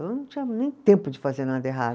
Eu não tinha nem tempo de fazer nada errado.